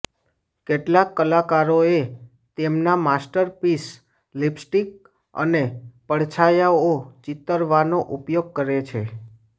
કેટલાક કલાકારોએ તેમના માસ્ટરપીસ લિપસ્ટિક અને પડછાયાઓ ચિતરવાનો ઉપયોગ કરે છે